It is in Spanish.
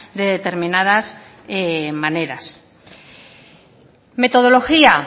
de determinadas maneras metodología